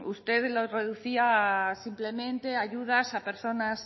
usted lo reducía simplemente a ayudas a personas